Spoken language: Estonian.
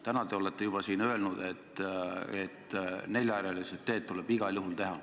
Täna te olete juba öelnud, et neljarealised teed tuleb igal juhul teha.